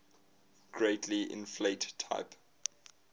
greatly inflate type